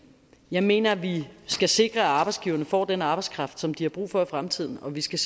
jeg mener vi skal sikre at arbejdsgiverne får den arbejdskraft som de har brug for i fremtiden og vi skal